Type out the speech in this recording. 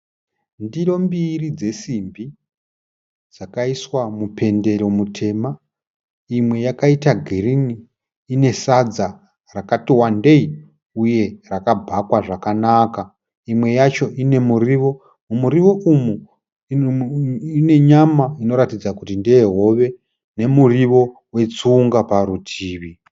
Ndiro mbiri dzesimbi dzakaiswa mupendero mutema. Imwe yakaita girini ine sadza rakati wandei uye rakabhakwa zvakanaka. Imwe yacho ine muriwo, mumuriwo umu mune nyama inoratidza kuti ndeyehove nemuriwo wetsunga parutivi.